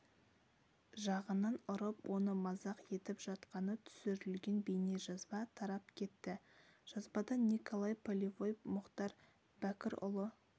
жағынан ұрып оны мазақ етіп жатқаны түсірілген бейнежазба тарап кетті жазбада николай полевой мұхтар бәкірұлы